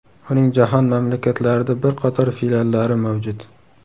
Uning jahon mamlakatlarida bir qator filiallari mavjud.